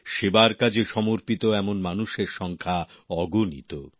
সেবার কাজে সমর্পিত এমন মানুষের সংখ্যা অগনিত